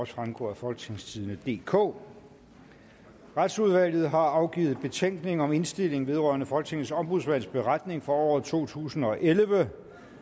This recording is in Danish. fremgå af folketingstidende DK retsudvalget har afgivet betænkning og indstilling vedrørende folketingets ombudsmands beretning for året totusinde og ellevte